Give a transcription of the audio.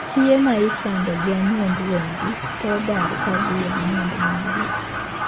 Kiye ma isando gi anyuond wuongi thoro dar kadhii e anyuond mingi.